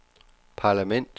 parlament